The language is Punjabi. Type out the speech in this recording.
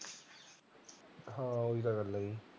ਹਾਂ ਉਹੀ ਤਾਂ ਗੱਲ ਐ